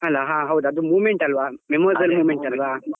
ಅಲ್ಲ ಹಾ ಹೌದು ಅದು moment ಅಲ್ಲ memorable moment ಅಲ್ವ.